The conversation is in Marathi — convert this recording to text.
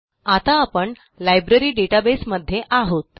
आता आपण लायब्ररी डेटाबेस मध्ये आहोत